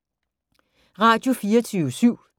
Radio24syv